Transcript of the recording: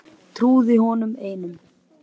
Trúði honum einum.